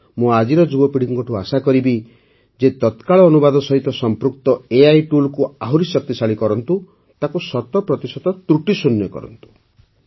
ମୁଁ ଆଜିର ଯୁବପିଢ଼ିଠାରୁ ଆଶା କରିବି ଯେ ତତ୍କାଳ ଅନୁବାଦ ସହିତ ସଂପୃକ୍ତ ଏଆଇ ଟୁଲ୍କୁ ଆହୁରି ଶକ୍ତିଶାଳୀ କରନ୍ତୁ ତାକୁ ଶତ ପ୍ରତିଶତ ତ୍ରୁଟିଶୂନ୍ୟ କରନ୍ତୁ